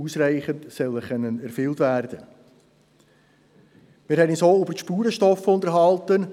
Dieses Gesetz wurde von der BaK vorberaten.